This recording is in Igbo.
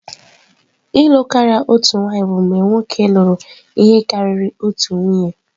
ịlụ karịa otu nwanyị bụ mgbe nwoke lụrụ ihe karịrị otu nwunye.